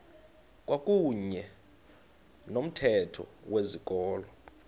kwakuyne nomthetho wezikolo